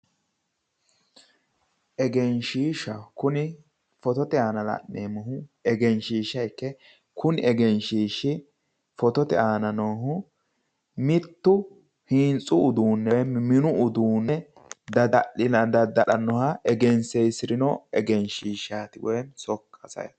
Kuni photote aana la'neemmohu engeshshiishsha ikke kunni egeshshiishshira hintsu woyi mini uduunne dadda'lannoha engensiisinota leellishshanno misileeti.